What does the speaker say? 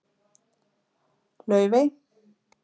Laufey